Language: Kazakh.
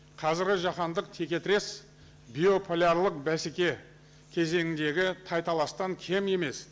қазіргі жаһандық теке тірес биополярлық бәсеке кезеңіндегі тай таластан кем емес